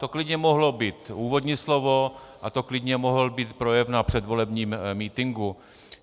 To klidně mohlo být úvodní slovo a to klidně mohl být projev na předvolebním mítinku.